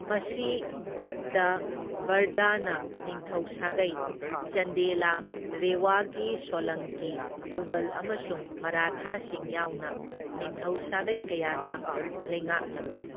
ꯃꯁꯤ ꯒꯨꯞꯇꯥ, ꯕꯔꯙꯅ ꯅꯤꯡꯊꯧ ꯁꯥꯒꯩ, ꯆꯟꯗꯦꯂꯥ, ꯔꯦꯋꯥꯒꯤ ꯁꯣꯂꯪꯀꯤ, ꯃꯨꯒꯜ ꯑꯃꯁꯨꯡ ꯃꯔꯥꯊꯥꯁꯤꯡ ꯌꯥꯎꯅ ꯅꯤꯡꯊꯧ ꯁꯥꯒꯩ ꯀꯌꯥꯅ ꯂꯩꯉꯥꯛꯂꯝꯃꯤ꯫